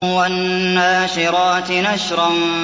وَالنَّاشِرَاتِ نَشْرًا